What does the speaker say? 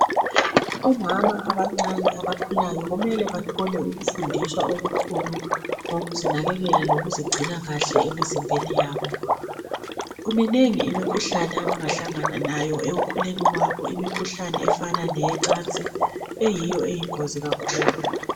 Omama abancane abakhulayo kumele bathole ukufundiswa okukhulu ngokuzinakekela lokuzigcina kuhle emzimbeni yabo. Minengi imikhuhlane abangahlangana nayo ekukhuleni kwabo imkhuhlane efana leyocansi eyiyo eyingozi kakhulu.